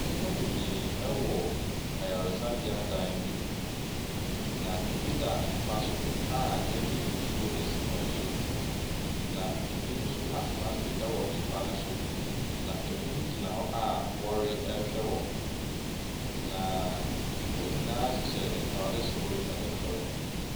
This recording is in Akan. Nnipa bebree wɔ ayaresabeɛ dan bi mu, na bi da mpa so a yɛde nsuo asi wɔn so. Na bi nso atena ase wɔ mpa ne so na bi nso gyina hɔ a wɔrehwɛ wɔn. Na wɔn nyinaa hyehyɛ ntaade soro ne fam.